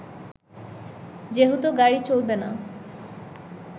যেহেতু গাড়ি চলবে না